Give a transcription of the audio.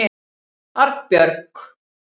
Arnbjörg